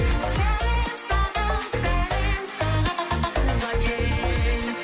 сәлем саған сәлем саған туған ел